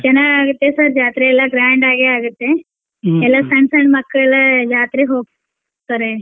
ಚೆನ್ನಾಗ್ ಆಗುತ್ತೆ sir ಜಾತ್ರೆ ಎಲ್ಲಾ grand ಆಗೇ ಆಗುತ್ತೆ ಎಲ್ಲಾ ಸಣ್ಣ ಸಣ್ಣ ಮಕ್ಳ್ ಜಾತ್ರಿಗ್ ಹೋಗ್ತಾರೆ.